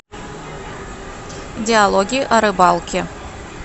диалоги о рыбалке